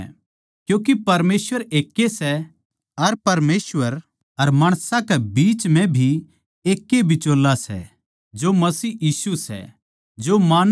क्यूँके परमेसवर एकै ए सै अर परमेसवर अर माणसां कै बिचाळै भी एक ए बिचोल्ला सै जो मसीह यीशु सै जो मानव रूप धारण करके आया